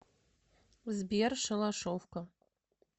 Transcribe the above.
сбер шалашовка